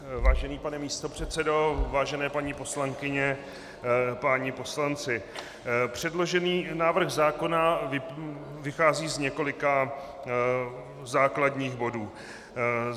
Vážený pane místopředsedo, vážené paní poslankyně, páni poslanci, předložený návrh zákona vychází z několika základních bodů.